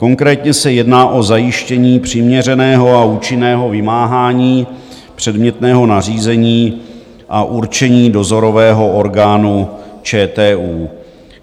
Konkrétně se jedná o zajištění přiměřeného a účinného vymáhání předmětného nařízení a určení dozorového orgánu ČTU.